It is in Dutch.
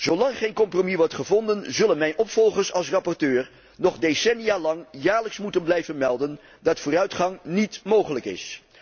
Zo lang geen compromis wordt gevonden, zullen mijn opvolgers als rapporteur nog decennia lang jaarlijks moeten blijven melden dat vooruitgang niet mogelijk is.